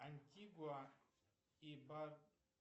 антигуа и обр